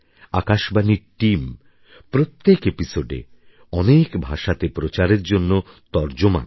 আকাশবাণীর টিম প্রত্যেক episodeএ অনেক ভাষাতে প্রচারের জন্য তর্জমা করে